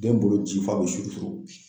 Den bolo ci fa be suuru suuru